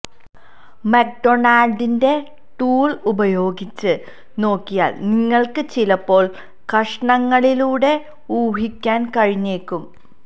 മക്ഡൊണാൾഡിന്റെ tool ഉപയോഗിച്ച് നോക്കിയാൽ നിങ്ങൾക്ക് ചിലപ്പോൾ കഷണങ്ങളിലൂടെ ഊഹിക്കാൻ കഴിഞ്ഞേക്കും